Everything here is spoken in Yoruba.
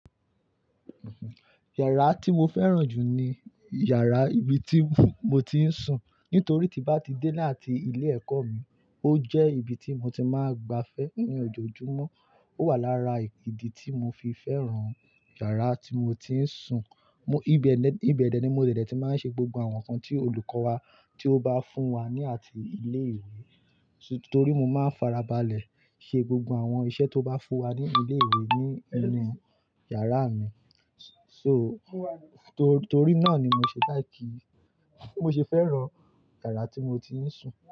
Yàrá tí mo fẹ́ràn jù ní yàrá ibi tí mo ti ń sùn, nítorí tí bá ti dé láti ilé ẹ̀kọ́ mi, ó jẹ́ ibi tí mo ti máa ń gba fẹ́ ní ojoojúmọ́. Ó wà lára ìdí tí mo fi fẹ́ràn yàrá tí mo ti ń sùn. Mo-- ibeni, ibẹ̀dẹ̀ ni mo dede ti máa ń ṣe gbogbo àwọn nǹkan tí olùkọ́ wa tí ó bá fún wa ní àti ilé ìwé. Torí mo máa ń farabalẹ̀ ṣe gbogbo àwọn iṣẹ́ tó bá fún wa ní ilé ìwé nínú yàrá mi. So, torí náà ni mo ṣe like. Mo ṣe fẹ́ràn yàrá tí mo ti ń sùn.